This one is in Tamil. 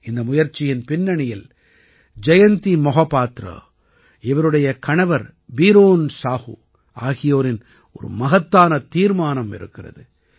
இந்த முயற்சியின் பின்னணியில் ஜயந்தி மஹாபாத்ரா இவருடைய கணவர் பீரேன் சாஹூ ஆகியோரின் ஒரு மகத்தான தீர்மானம் இருக்கிறது